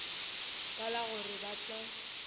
ka la gore ba tla